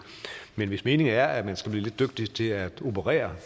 men hvis meningen er at man skal blive lidt dygtigere til at operere